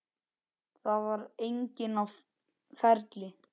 Það var enginn á ferli.